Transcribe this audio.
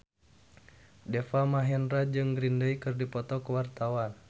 Deva Mahendra jeung Green Day keur dipoto ku wartawan